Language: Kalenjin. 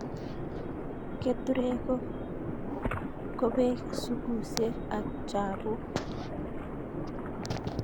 Keturek ko Ko peek, sugusek, ak chapuk